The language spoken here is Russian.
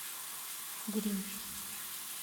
гринь